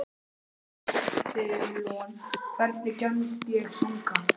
Edilon, hvernig kemst ég þangað?